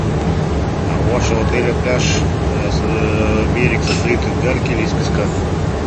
а у вашего отеля пляж берег состоит из гальки или из песка